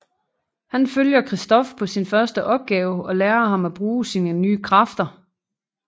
Han følger Christof på sin første opgave og lære ham at bruge sine nye kræfter